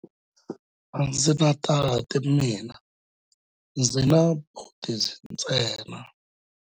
A ndzi na tati mina, ndzi na buti ntsena.